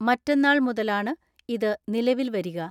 മറ്റെന്നാൾ മുതലാണ് ഇത് നിലവിൽ വരിക.